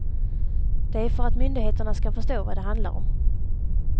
Det är för att myndigheterna skall förstå vad det handlar om.